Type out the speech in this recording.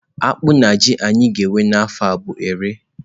Akpụ na ji anyị ga-ewe n'afọ a bụ ere.